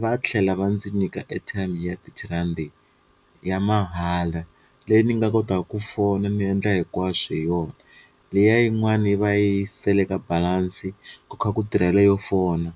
va tlhela va ndzi nyika airtime ya thirty rhandi ya mahala leyi ni nga kotaka ku fona ni endla hinkwaswo hi yona, liya yin'wani yi va yi seleke balansi ku kha ku tirhela yo fona